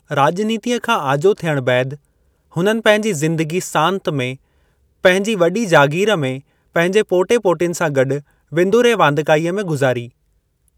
राज॒नीतिअ खां आजो थियणु बैदि, हुननि पंहिंजी ज़िंदगी सांत में पंहिंजी वॾी जागीर में पंहिंजे पोटे-पोटिनि सां गॾु विंदुरु ऐं वांदिकाईअ में गुज़ारी।